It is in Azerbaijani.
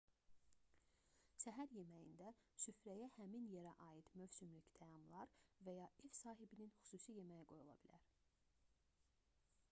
səhər yeməyində süfrəyə həmin yerə aid mövsümlük təamlar və ya ev sahibinin xüsusi yeməyi qoyula bilər